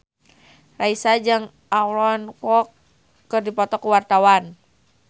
Raisa jeung Aaron Kwok keur dipoto ku wartawan